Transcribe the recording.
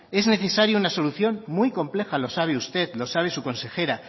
es necesaria una solución muy compleja lo sabe usted lo sabe su consejera